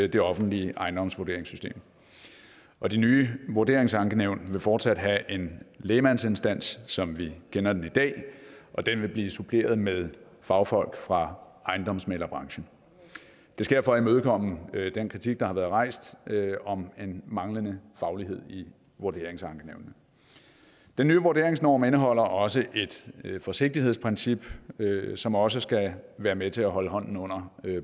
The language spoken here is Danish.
det offentlige ejendomsvurderingssystem og de nye vurderingsankenævn vil fortsat have en lægmandsinstans som vi kender det i dag og den vil blive suppleret med fagfolk fra ejendomsmæglerbranchen det sker for at imødekomme den kritik der har været rejst om en manglende faglighed i vurderingsankenævnene den nye vurderingsnorm indeholder også et forsigtighedsprincip som også skal være med til at holde hånden under